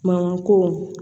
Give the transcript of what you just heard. Mankan ko